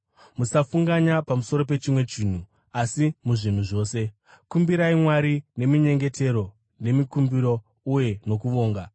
Musafunganya pamusoro pechimwe chinhu, asi muzvinhu zvose, kumbirai Mwari neminyengetero, nemikumbiro uye nokuvonga.